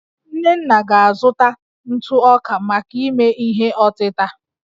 nnenna ga-azụta ntụ ọka maka ime ihe ọtịta